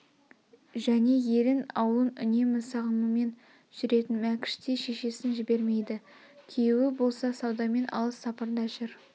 және елін аулын үнемі сағынумен жүретін мәкш те шешесн жбермейді күйеуі болса саудамен алыс сапарда жүр